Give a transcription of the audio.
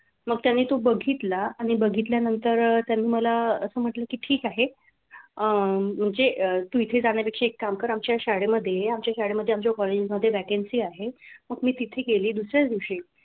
मग त्यांनी तो बघितला आणि बघितल्यानंतर त्यांनी मला असं म्हटलं की ठीक आहे. अं म्हणजे इथे जाण्या पेक्षा एक काम कर. आमच्या शाळेमध्ये ये. आमच्या शाळेमध्ये आमच्या college मध्ये vacancy आहे मग मी तिथे गेले दुसऱ्या दिवशी